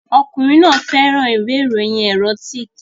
Ọkùnrin náà fẹ́ràn ìwé ìròyìn erotic